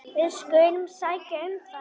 Við skulum sækja um það.